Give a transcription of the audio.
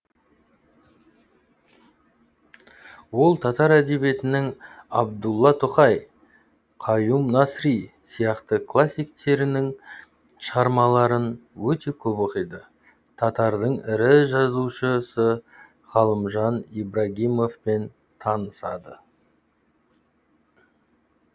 ол татар әдебиетінің абдулла тоқай қаюм насри сияқты классиктерінің шығармаларын өте көп оқиды татардың ірі жазушысы ғалымжан ибрагимовпен танысады